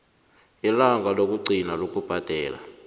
ilanga lokugcina lokubhadela